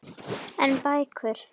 En bækur?